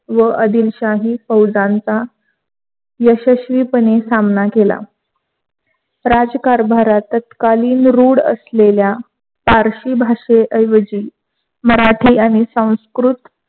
व आदिलशाही फौजांचा यशस्वीपणे सामना केला. राजकारभारत तत्कालीन रूढ असलेल्त्या पारशी भाषेऐवजी मराठी आणि संस्कृत